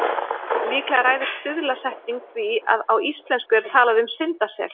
Líklega ræður stuðlasetning því að á íslensku er talað um syndasel.